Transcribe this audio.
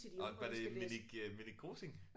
Og var det Minik øh Minik Rosing